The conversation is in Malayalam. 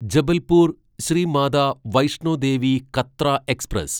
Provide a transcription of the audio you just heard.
ജബൽപൂർ ശ്രീമാത വൈഷ്ണോ ദേവി കത്ര എക്സ്പ്രസ്